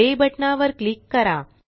play बटना वर click करा